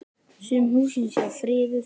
Sum húsin séu friðuð.